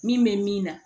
Min bɛ min na